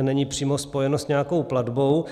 není přímo spojeno s nějakou platbou.